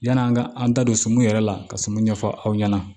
Yan'an ka an da don sumun yɛrɛ la ka sumun ɲɛfɔ aw ɲɛna